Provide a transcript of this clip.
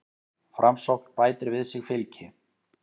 Framsókn bætir við sig fylgi